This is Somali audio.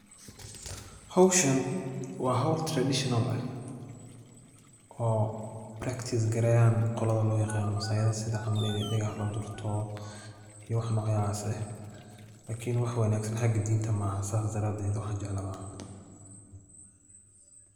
Howshan waa howl [cs[traditional eh oo [cs[practice gareyan qolada loo yaqaano maasayda sida camal ini dhegaha la durto iy wax nocaase lakini wax wanaagsan xaga dinta ma aha sida daraaded wax an jeclahay ma aha